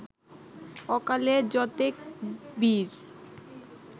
অকালে যতেক বীর